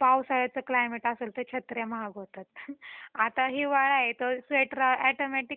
पावसाळ्याच climate असेल तर छत्र्या महाग होतात आता हिवाळा आहे तर स्वेटर अॅटोमॅटिक ते कॉस्ट वाढत जाती नाही का.